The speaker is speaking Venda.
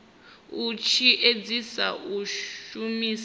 uri tshi edzise u shumisa